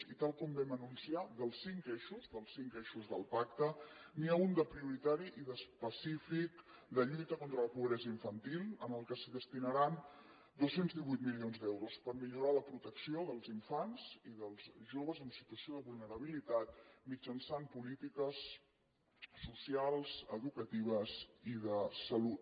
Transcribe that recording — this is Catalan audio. i tal com vam anunciar dels cinc eixos dels cinc eixos de pacte n’hi ha un de prioritari i d’específic de lluita contra la pobresa infantil al qual es destinaran dos cents i divuit milions d’euros per millorar la protecció dels infants i dels joves en situació de vulnerabilitat mitjançant polítiques socials educatives i de salut